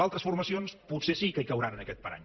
altres formacions potser sí que hi cauran en aquest parany